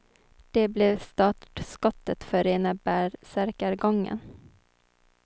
Det blev startskottet för rena bärsärkagången.